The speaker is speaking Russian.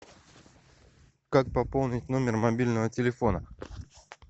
как пополнить номер мобильного телефона